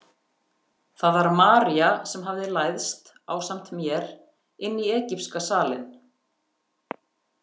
Það var María sem hafði læðst ásamt mér inn í egypska salinn.